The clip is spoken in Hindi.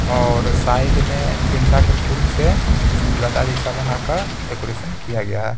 और साइड मेंगेंदा के फूल से कुछ गदा जैसा बनाकर डेकोरेशन किया गया है।